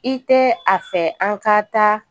I tɛ a fɛ an ka taa